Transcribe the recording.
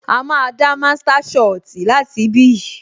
A máa dá master soti láti ibí yìí